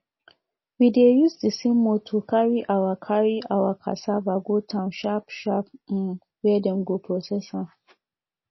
we dey use the same motor carry our carry our cassava go town sharp sharp um where dem go process am